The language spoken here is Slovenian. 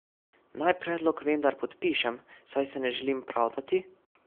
Naj predlog vendar podpišem, saj se ne želim pravdati?